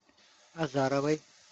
азаровой